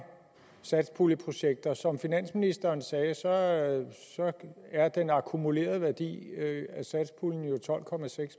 satspuljeprojekter som finansministeren sagde er den akkumulerede værdi af satspuljen jo tolv